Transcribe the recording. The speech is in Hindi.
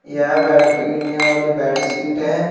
यह बेड पे गिरने वाली बेडशीट है।